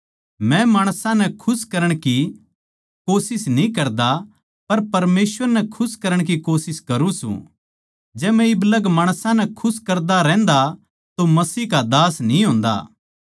मै माणसां नै खुश करण की कोशिश न्ही करता पर परमेसवर नै खुश करण की कोशिश करुँ सूं जै मै इब लग माणसां नै खुश करदा रहन्दा तो मसीह का दास न्ही होंदा